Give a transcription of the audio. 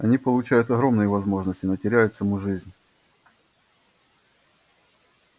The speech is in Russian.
они получают огромные возможности но теряют саму жизнь